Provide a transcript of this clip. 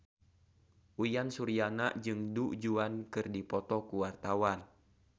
Uyan Suryana jeung Du Juan keur dipoto ku wartawan